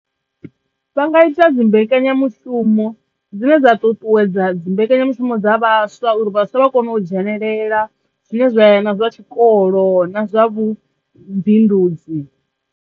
Vha nga ita dzimbekenyamushumo dzine dza ṱuṱuwedza dzimbekenyamushumo dza vhaswa uri vhaswa vha kone u dzhenelela zwine zwa ya na zwa tshikolo na zwa vhu bindudzi.